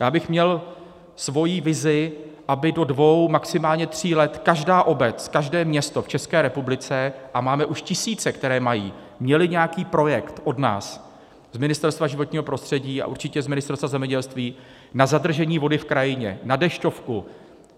Já bych měl svoji vizi, aby do dvou, maximálně tří let každá obec, každé město v České republice, a máme už tisíce, které mají, měly nějaký projekt od nás z Ministerstva životního prostředí a určitě z Ministerstva zemědělství na zadržení vody v krajině, na Dešťovku.